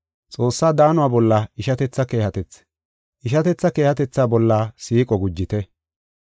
Xoossaa daano bolla ishatetha keehatethi, ishatetha keehatetha bolla siiqo gujite.